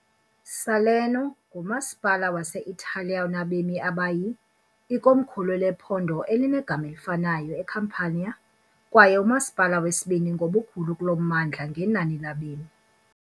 Salerno ngumasipala wase -Italiya onabemi abayi , ikomkhulu lephondo elinegama elifanayo eCampania kwaye umasipala wesibini ngobukhulu kulo mmandla ngenani labemi.